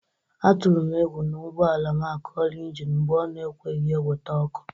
Atụrụ m egwu na ụgbọala m akọla ịnjịnị mgbe o na-ekweghi ewete ọkụ